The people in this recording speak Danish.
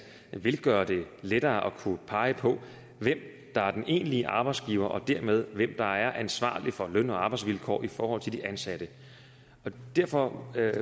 vil gøre det lettere at kunne pege på hvem der er den egentlige arbejdsgiver og dermed hvem der er ansvarlig for løn og arbejdsvilkår i forhold til de ansatte derfor